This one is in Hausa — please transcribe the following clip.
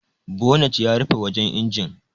Bonet yana rufe wajan injin.